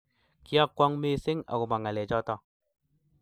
Kyakwong missing agoba ngalechoto